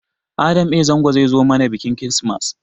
Adam a. Zango zai zo mana biƙin kirismas